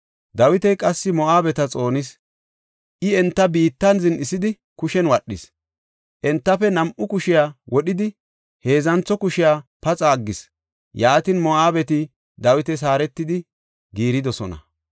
Dawiti qassi Moo7abeta xoonis. I enta biittan zin7isidi kushen wadhis; entafe nam7u kushiya wodhidi, heedzantho kushiya paxa aggis. Yaatin Moo7abeti Dawitas haaretidi giiridosona.